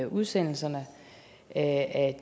udsendelserne af